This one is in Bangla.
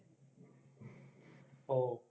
ওহ